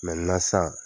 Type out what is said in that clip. san